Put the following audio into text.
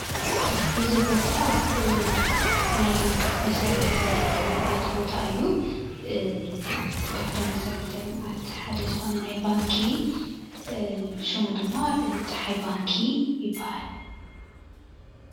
እዚ ቦታ ናይ መሰረተ ልምዓት ባታ እዩ። ካብቶም መስረተ ልምዓት ሓደ ዝኮነ ናይ ባንኪ ሽሙ ድማ ፀሓይ ባንኪ ይበሃል፡፡